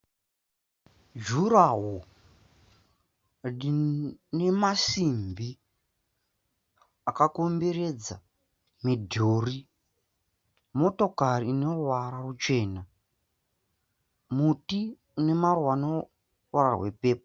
jurawo rine masimbi akakomberedza midhuri, motokari ine ruvara rwuchena, muti une maruva ane ruvara rwe pepu.